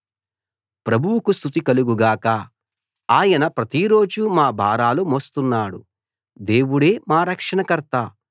ప్రభువుకు స్తుతి కలుగు గాక ఆయన ప్రతిరోజూ మా భారాలు మోస్తున్నాడు దేవుడే మా రక్షణకర్త